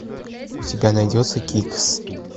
у тебя найдется кикс